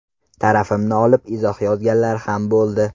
Tarafimni olib izoh yozganlar ham bo‘ldi.